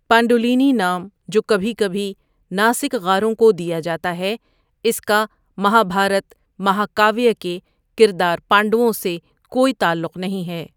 پانڈولینی نام جو کبھی کبھی ناسک غاروں کو دیا جاتا ہے اس کا مہابھارت مہاکاویہ کے کردار پانڈووں سے کوئی تعلق نہیں ہے۔